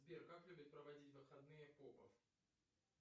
сбер как любит проводить выходные попов